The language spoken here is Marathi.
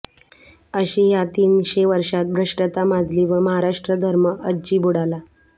अशी ह्या तीन शें वर्षात भ्रष्टता माजली व महाराष्ट्रधर्म अज्जी बुडाला